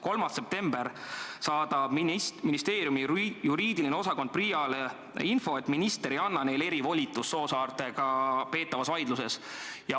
3. septembril saatis ministeeriumi õigusosakond PRIA-le info, et minister ei anna neile erivolitust Soosaartega peetavas vaidluses.